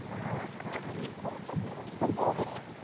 ആഹ് മ്മളെ മുത്തല്ലേ